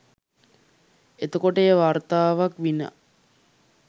එතකොට එය වාර්තාවක් විනා